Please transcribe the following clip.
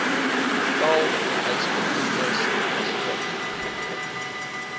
getal huisbediendes asook